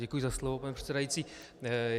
Děkuji za slovo, pane předsedající.